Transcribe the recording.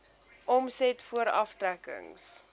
omset voor aftrekkings